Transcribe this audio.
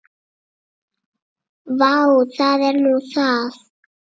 Vá, það er nú það.